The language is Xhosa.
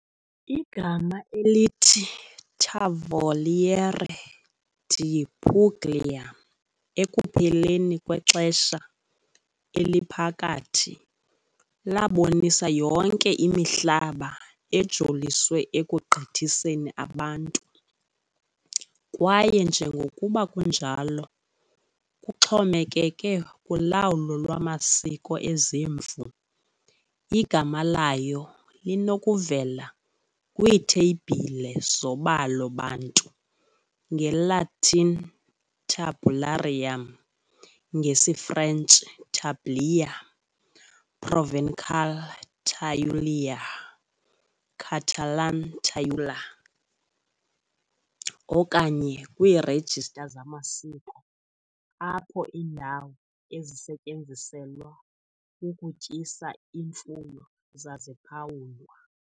Igama elithi "Tavoliere di Puglia" ekupheleni kweXesha Eliphakathi labonisa yonke imihlaba ejoliswe ekugqithiseni abantu kwaye njengokuba kunjalo kuxhomekeke kulawulo lwamasiko ezimvu igama layo linokuvela kwiitheyibhile zobalo bantu, ngeLatin "tabularium", ngesiFrentshi "tablier", Provençal "taulièr", Catalan "tauler". okanye kwiirejista zamasiko apho iindawo ezisetyenziselwa ukutyisa imfuyo zaziphawulwa.